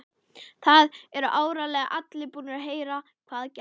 Það eru áreiðanlega allir búnir að heyra hvað gerðist.